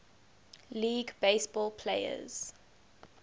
league baseball players